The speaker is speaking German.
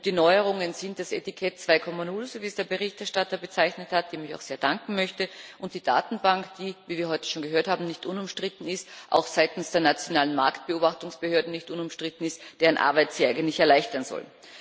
Die Neuerungen sind das Etikett 2,0 wie es der Berichterstatter bezeichnet hat, dem ich auch sehr danken möchte und die Datenbank, die wie wir heute schon gehört haben nicht unumstritten ist und die auch seitens der nationalen Marktbeobachtungsbehörden nicht unumstritten ist, deren Arbeit sie eigentlich erleichtern soll.